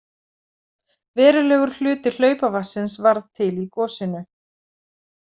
Verulegur hluti hlaupavatnsins varð til í gosinu.